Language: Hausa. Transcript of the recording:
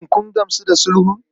Shin kun gamsu da sulhun?